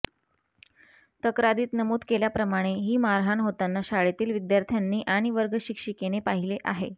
तक्रारीत नमूद केल्याप्रमाणे ही मारहाण होताना शाळेतील विद्यार्थ्यांनी आणि वर्गशिक्षिकेने पाहिले आहे